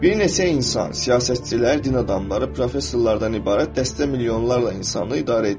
Bir neçə insan, siyasətçilər, din adamları, professorlardan ibarət dəstə milyonlarla insanı idarə edir.